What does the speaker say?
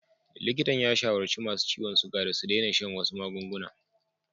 Likitan ya shawarci masu ciwon suga da su daina shan wasu magunguna.